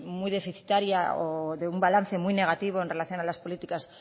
muy deficitaria o de un balance muy negativo en relación a las políticas